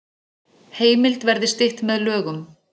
Heimild verði stytt með lögum